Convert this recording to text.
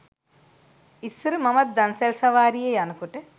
ඉස්සර මමත් දන්සැල් සවාරියේ යනකොට